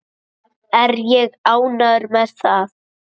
Er ég ánægður með það?